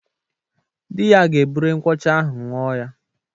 Di ya ga-ebure nkwụ ọcha ahụ ńụọ ya.